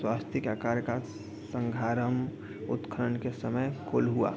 स्वास्तिक आकार का संघाराम उत्खनन के समय कोल्हुआ।